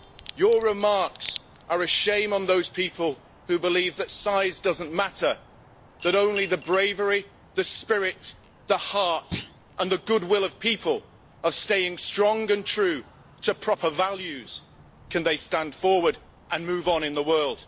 Your remarks are a shame on those people who believe that size does not matter, that only with the bravery, the spirit, the heart and the goodwill of people in staying strong and true to proper values, can they stand forward and move on in the world.